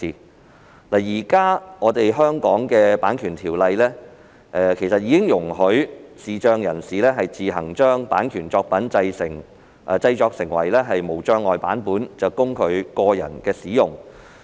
其實，現時香港《版權條例》已容許視障人士自行將版權作品自行製作為無障礙版本，供其個人使用。